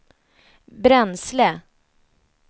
bränsle